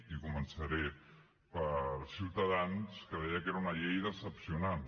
i començaré per ciutadans que deia que era una llei decebedora